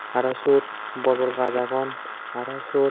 aro syot bor bor gaj agon aro syot.